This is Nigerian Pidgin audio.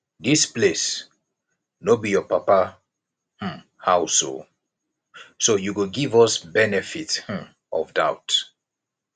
dis place no be your papa um house oo so you go give us benefit um of doubt